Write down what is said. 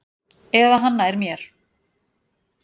Eða hann nær mér.